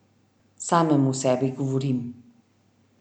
Samemu sebi govorim.